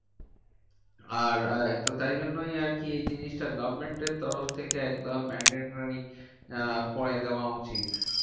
আর তো তাই জন্যই আরকি এই জিনিসটা government এর তরফ থেকে একদম mandatory আহ করে দেওয়া উচিত।